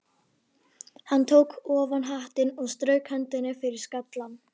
Hann tók ofan hattinn og strauk hendinni yfir skallann.